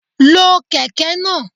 Lo Kẹ̀kẹ́ náà.